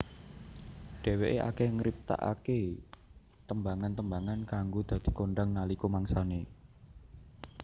Dheweké akeh ngriptakaké tembangan tembangan kang dadi kondhang nalika mangsane